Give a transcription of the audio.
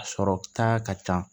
A sɔrɔ ta ka ca